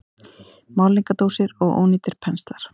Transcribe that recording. Málningardósir og ónýtir penslar.